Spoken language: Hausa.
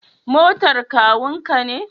Motar kakun ka ne?